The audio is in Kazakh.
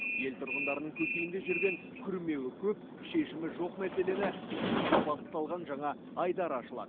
ел тұрғындарының көкейінде жүрген күрмеуі көп шешімі жоқ мәселені шешуге бағытталған жаңа айдар ашылады